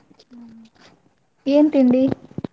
N ತಿಂಡಿ?